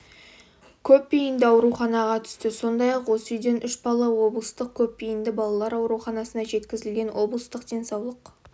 көпбейінді ауруханаға түсті сондай-ақ осы үйден үш бала облыстық көпбейінді балалар ауруханасына жеткізілген облыстық денсаулық